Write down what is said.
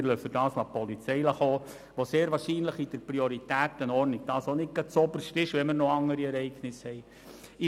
Dafür lassen wir die Polizei kommen, in deren Prioritätenordnung das sehr wahrscheinlich auch nicht gerade zuoberst steht, wenn es noch andere Ereignisse gibt.